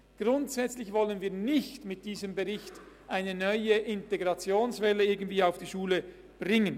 Grundsätzlich möchten wir mit diesem Bericht keine neue Integrationswelle auf die Schulen loslassen.